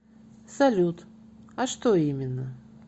салют а что именно